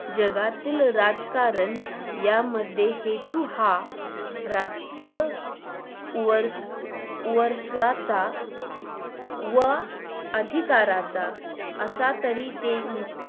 जगातील राजकारण या मध्ये हेतू हा राजकीय वर व्हर्सवाचा व अधिकाराचा असा तरी ते